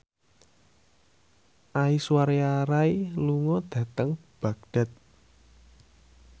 Aishwarya Rai lunga dhateng Baghdad